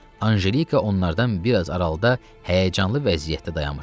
Anjelika onlardan bir az aralıda həyəcanlı vəziyyətdə dayanmışdı.